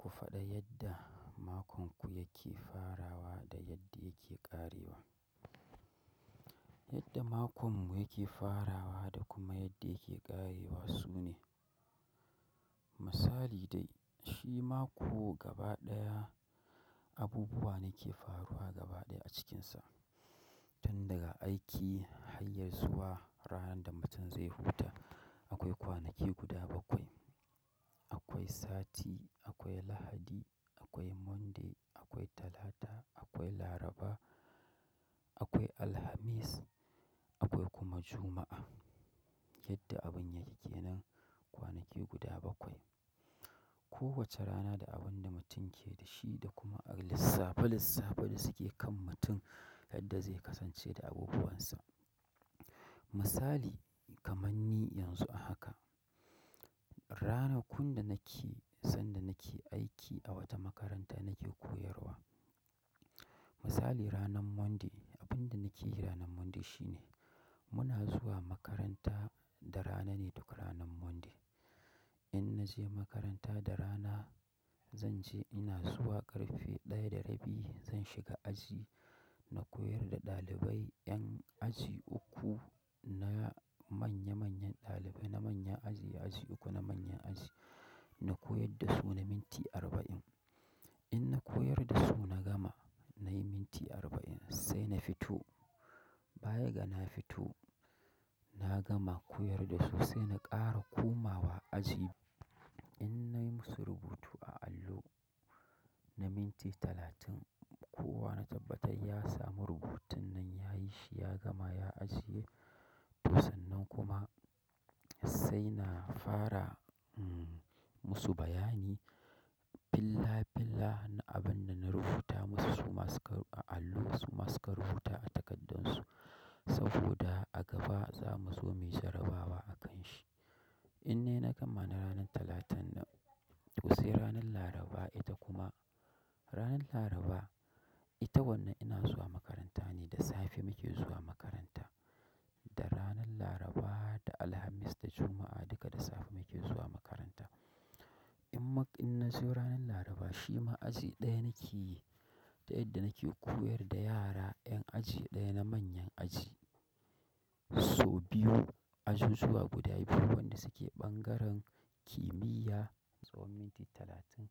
Ku faɗa yadda makon ku yake farawa da yadda yake ƙarewa. Yadda makon mu yake farawa da kuma yadda yake ƙarewa sune, misali dai shi mako gaba ɗaya abubuwa da ke faruwa gaba ɗaya a cikinsa. Tun daga aiki hanyar zuwa ranar da mutum zai huta. Akwai kwanaki guda bakwai. Akwai sati, akwai Lahadi, akwai Monday, akwai Talata, akwai Laraba, akwai Alhamis, akwai kuma Juma'a. Yadda abun yake kenan, kwanaki guda bakwai. Ko wace rana da abin da mutum yake da shi, da kuma lissafe-lissafe da suke kan mutum yadda zai kasance da abubuwan sa. Misali kama ni yanzu a haka ranakun da nake sanda nake aiki, a wata makaranta nake koyarwa. Misali ranar Monday, abunda nake yi ranar Monday shine, muna zuwa makaranta da rana ne duk rana Monday. In naje makaranta da rana, zance ina zuwa ƙarfe ɗaya da rabi zan shiga aji. Na koyar da ɗalibai ƴan aji uku, na manya-manyan ɗalibai na manyan aji, aji uku na manyan aji na koyar da su na minti arba'in. In na koyar da su na gama nayi minti arba'in sai na fito. Bayaga na fito na gama koyar da su sai na ƙara komawa aji in nayi musu rubutu a allo na minti talatin, kowa na tabbatai ya samu rubutun nan yayi shi ya gama ya ajiye. To sannan kuma sai na fara mm, musu bayani. Bila-bila na abin da na rubuta musu su, masu karɓa a allo su masu ka rubuta a takardun su. Saboda a gaba za mu zo mu yi jarabawa a kan shi. Ine na gama na ranan Talatan nan, to sai ranan Laraba, ita kuma ranan Laraba ita wannan ina zuwa makaranta ne da safe muke zuwa makaranta. Da ranan Laraba, da Alhamis, da Juma'a, duka da safe muke zuwa makaranta. In mak-in nazo ranan Laraba shi ma aji ɗaya nake yi. Ta yadda nake koyar da yara ƴan aji ɗaya na manya aji, so biyu ajujuwa guda biyu waƴanda suke ɓangaren. Kimiyya tsawon minti talatin,